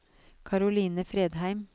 Caroline Fredheim